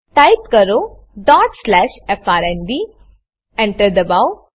type કરો dot slash FRND Enter દબાવો